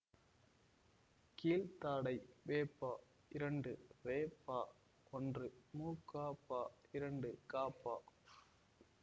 கீழ்தாடை வெப இரண்டு வேப ஒன்று முகப இரண்டு கப